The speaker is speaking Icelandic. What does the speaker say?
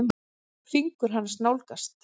Fingur hans nálgast.